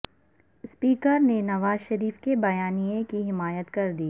اسپیکرنے نواز شریف کے بیا نیے کی حمایت کردی